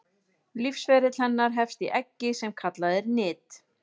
Lífsferill hennar hefst í eggi sem kallað er nit.